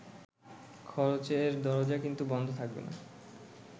খরচের দরজা কিন্তু বন্ধ থাকবে না।